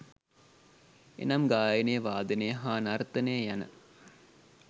එනම් ගායනය, වාදනය හා නර්තනය යන